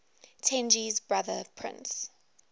tenji's brother prince